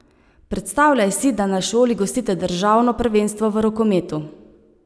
Predstavljaj si, da na šoli gostite državno prvenstvo v rokometu.